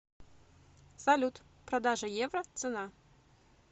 салют продажа евро цена